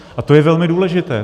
A to je velmi důležité.